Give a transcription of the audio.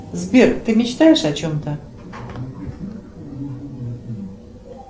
сбер ты мечтаешь о чем то